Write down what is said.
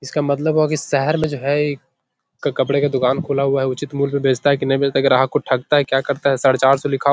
इसका मतलब हुआ की शहर में जो है एक कपड़े का दुकान खुला हुआ है उचित मूल्य पे बेचता है की नहीं बेचता ग्राहक को ठगता है क्या करता है साढे चार सौ लिखा --